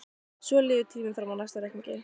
Svo líður tíminn fram að næsta reikningi.